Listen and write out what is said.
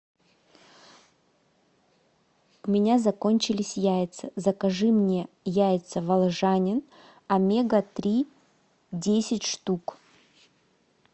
у меня закончились яйца закажи мне яйца волжанин омега три десять штук